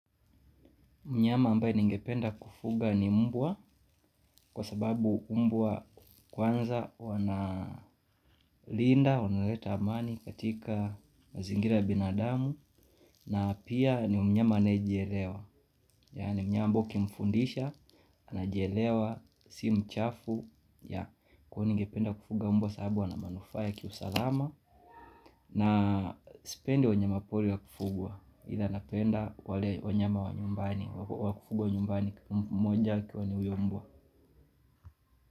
Mnyama ambaye ningependa kufuga ni mbwa kwa sababu mbwa kwanza wanalinda, wanaleta amani katika mazingira ya binadamu. Na pia ni mnyama anaejielewa, yaani mnyama ambao kimfundisha, anajielewa, si mchafu. Kwa ningependa kufuga mbwa sababu wanamanufa ya kiusalama. Na sipendi wanyama poli wa kufugwa ila napenda wale wanyama wa nyumbani wa kufugwa nyumbani mmoja akiwa ni uyo mbwa.